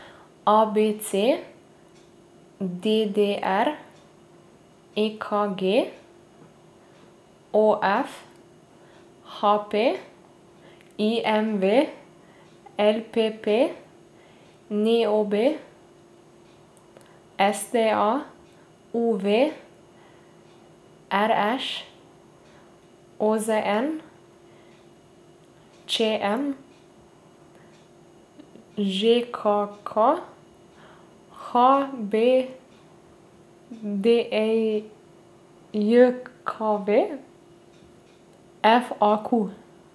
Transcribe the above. A B C; D D R; E K G; O F; H P; I M V; L P P; N O B; S T A; U V; R Š; O Z N; Č M; Ž K K; H B D J J K V; F A Q.